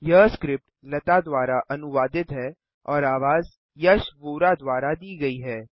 यह स्क्रिप्ट लता द्वारा अनुवादित है और आवाज यश वोरा द्वारा दी गई है